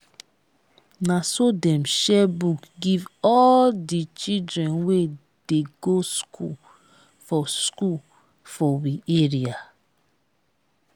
na so dem share book give all di children wey dey go skool for skool for we area.